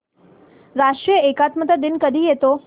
राष्ट्रीय एकात्मता दिन कधी येतो